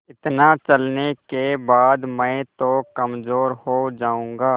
इतना चलने के बाद मैं तो कमज़ोर हो जाऊँगा